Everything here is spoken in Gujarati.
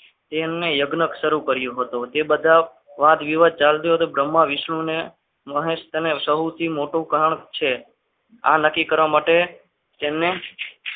તેમને યજ્ઞ શરૂ કર્યું હતું તે બધા વાદવિવાદ ચાલતો હતો બ્રહ્મા વિષ્ણુ અને મહેશ અને સૌથી મોટું કારણ છે નક્કી કરવા માટે તેમને